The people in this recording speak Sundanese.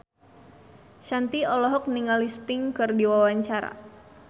Shanti olohok ningali Sting keur diwawancara